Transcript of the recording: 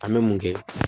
An bɛ mun kɛ